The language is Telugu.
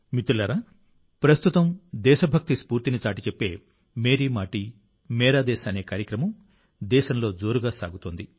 మిత్రులారా ప్రస్తుతం దేశభక్తి స్ఫూర్తిని చాటిచెప్పే మేరీ మాటీ మేరా దేశ్ అనే కార్యక్రమం దేశంలో జోరుగా సాగుతోంది